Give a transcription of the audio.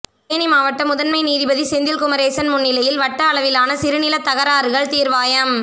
தேனி மாவட்ட முதன்மை நீதிபதி செந்தில் குமரேசன் முன்னிலையில் வட்ட அளவிலான சிறு நிலத் தகராறுகள் தீர்வாயம்